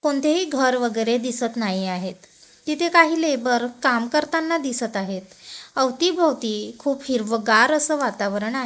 कोणत्याही घर वगैरे दिसतं नाही आहे. तिथे काही लेबर काम करताना दिसतं आहे. अवतीभवती खूप हिरवंगार असं वातावरण आहे.